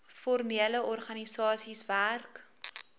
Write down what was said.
formele organisasies werk